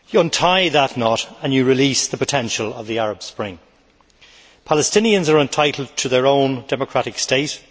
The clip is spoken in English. Untie that knot and you release the potential of the Arab Spring. Palestinians are entitled to their own democratic state